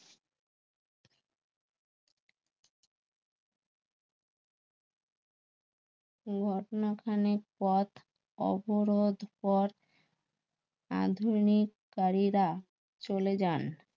ঘটনা খানেক পথ অবরোধ পথ আধুনিক কারীরা চলে যান